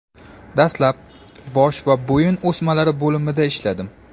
Dastlab bosh va bo‘yin o‘smalari bo‘limida ishladim.